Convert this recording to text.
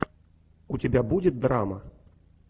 у тебя будет драма